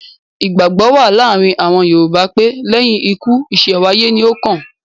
Ìgbàgbọ́ wà láàárin àwọn Yorùbá pé; lẹ́yìn ikú ìṣẹ̀wáyé ni ó kàn.